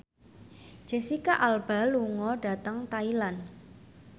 Jesicca Alba lunga dhateng Thailand